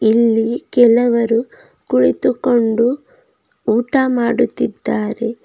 ಇಲ್ಲಿ ಕೆಲವರು ಕುಳಿತುಕೊಂಡು ಊಟ ಮಾಡುತ್ತಿದ್ದಾರೆ.